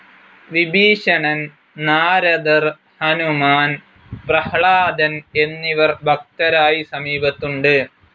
വിഭീഷണൻ, നാരദർ, ഹനുമാൻ, പ്രഹ്ലാദൻ എന്നിവർ ഭക്തരായി സമീപത്തുണ്ട്.